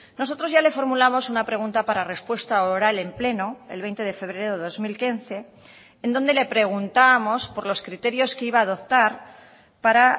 nosotros ya le formulamos una pregunta para respuesta oral en pleno el veinte de febrero de dos mil quince en donde le preguntábamos por los criterios que iba a adoptar para